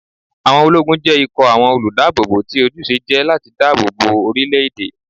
Àwọn ológun jẹ́ ikọ̀ àwọn olùdáàbòbò tí ojúṣe jẹ́ láti dáàbò bo orílé-èdè